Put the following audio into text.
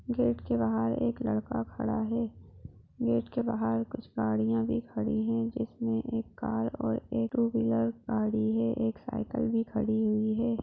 Gate के बाहर एक लड़का खड़ा हे गेट गेट के बाहर कुछ गाड़िया भी खडी हे जिसमे एक कार और एक टू व्हीलर गाडी हे एक साइकिल भी खडी हुई हे।